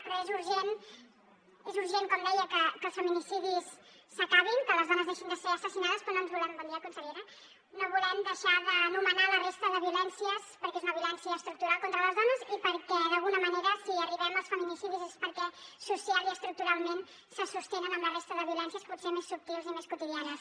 però és urgent com deia que els feminicidis s’acabin que les dones deixin de ser assassinades però no volem bon dia consellera deixar d’anomenar la resta de violències perquè és una violència estructural contra les dones i perquè d’alguna manera si arribem als feminicidis és perquè socialment i estructuralment se sostenen amb la resta de violències potser més subtils i més quotidianes